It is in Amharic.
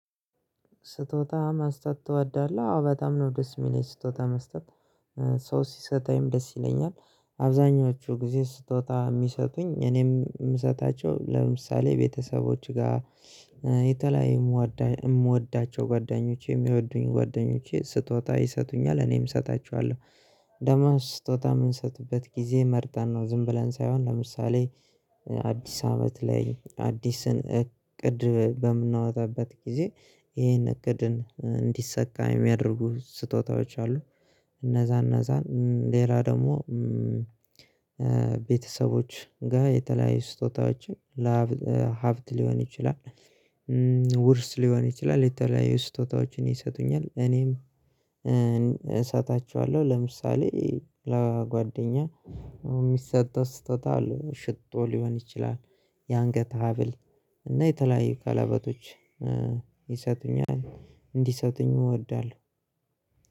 ስጦታ መስጠት ትወዳለህ? አዎ በጣም ነው ደስ የሚለኝ ስጦታ መስጠት ሰው ሲሰጥኝም ደስ ይለኛል። አብዛኞቹ ጊዜ ስጦታ የሚሰጡኝ እኔም የምሰጣቸው ለምሳሌ ቤተሰቦች ጋር የተለያየ የምወዳቸው ጓደኞቼ የሚወዱኝ ጓደኞቼ ስትወጣ ይሰጡኛል እኔም እሰጣችኋለሁ። ደግሞ ስጦታ የምንሰጥበት ጊዜ መርጠን ነው ዝም ብለን ሳይሆን ለምሳሌ አዲስ አመት ላይ አዲስን እቅድ በምናወጣበት ጊዜ ይሄን እቅድን እንዲሰካ የሚያደርጉ ስጦታዎች አሉ። እነዛን እነዛን ሌላ ደግሞ። ቤተሰቦች ጋር የተለያዩ ስጦታዎችን ለሀብት ሊሆን ይችላል ውርስ ሊሆን ይችላል። የተለያዩ ስጦታዎችን ይሰጡኛል እኔም። ለምሳሌ ለጓደኛ የሚሰጥ ስጦታ አለ ሽቶ ሊሆን ይችላል። የአንገት ሀብል እና የተለያዩ ቀለበቶች ይሰጡኛል። እንዲሰጡኝ እወዳለሁ።